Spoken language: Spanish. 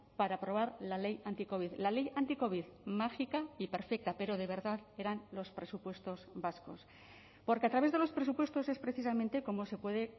para aprobar la ley anticovid la ley anticovid mágica y perfecta pero de verdad eran los presupuestos vascos porque a través de los presupuestos es precisamente cómo se puede